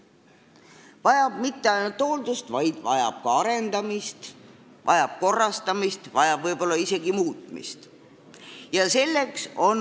Ta ei vaja mitte ainult hooldust, vaid ta vajab ka arendamist ja korrastamist, võib-olla isegi muutmist.